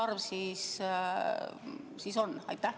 Kui suur see arv on?